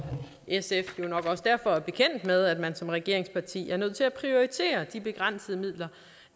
sf er jo nok også derfor bekendt med at man som regeringsparti er nødt til at prioritere de begrænsede midler